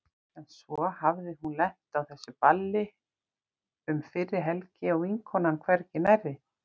En svo hafði hún lent á þessu balli um fyrri helgi og vinkonan hvergi nærri.